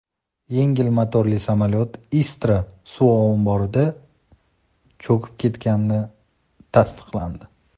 Yengil motorli samolyot Istra suv omborida cho‘kib ketgani tasdiqlandi.